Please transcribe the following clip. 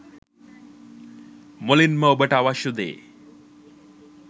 මුලින්ම ඔබට අවශ්‍ය දේ